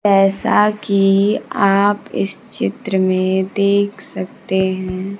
जैसा कि आप इस चित्र में देख सकते हैं।